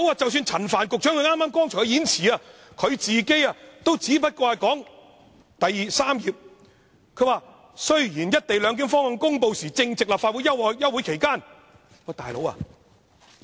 即使陳帆局長也知道只是在數月前才公布的，因為他剛才的演辭第三頁說，"一地兩檢"方案公布時，正值立法會休會期間。